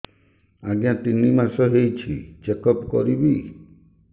ଆଜ୍ଞା ତିନି ମାସ ହେଇଛି ଚେକ ଅପ କରିବି